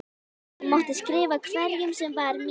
Hún mátti skrifa hverjum sem var mín vegna.